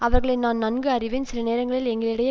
அவர்களை நான் நன்கு அறிவேன் சில நேரங்களில் எங்களிடையே